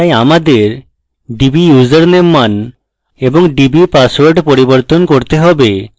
তাই আমাদের dbusername মান এবং dbpassword পরিবর্তন করতে হবে